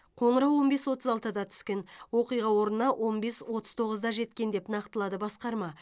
қоңырау он бес отыз алтыда түскен оқиға орнына он бес отыз тоғызда жеткен деп нақтылады басқарма